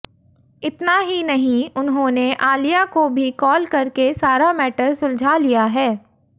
इतना ही नहीं उन्होंने आलिया को भी कॉल करके सारा मैटर सुलझा लिया है